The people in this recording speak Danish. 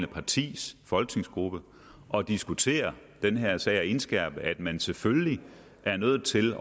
partis folketingsgruppe og diskutere den her sag og indskærpe at man selvfølgelig er nødt til